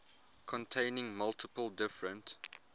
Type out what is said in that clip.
containing multiple different